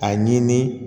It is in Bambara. A ɲini